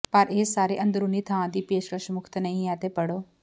ਪਰ ਇਹ ਸਾਰੇ ਅੰਦਰੂਨੀ ਥਾਂ ਦੀ ਪੇਸ਼ਕਸ਼ ਮੁਫ਼ਤ ਨਹੀਂ ਹੈ ਤੇ ਪੜ੍ਹੋ